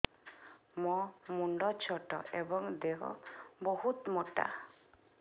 ମୋ ମୁଣ୍ଡ ଛୋଟ ଏଵଂ ଦେହ ବହୁତ ମୋଟା